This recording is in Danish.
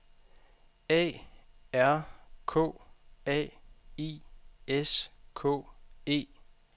A R K A I S K E